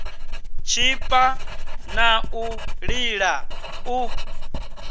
tshipa na u lila u